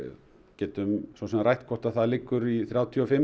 getum rætt hvort það liggur í þrjátíu og fimm